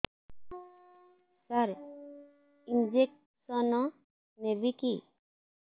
ସାର injection ନେବିକି